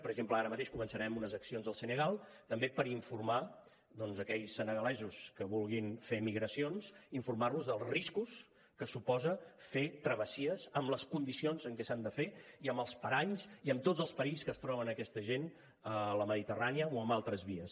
per exemple ara mateix començarem unes accions al senegal també per informar aquells senegalesos que vulguin fer migracions informar los dels riscos que suposa fer travessies en les condicions en què s’han de fer i amb els paranys i amb tots els perills que es troben aquesta gent a la mediterrània o en altres vies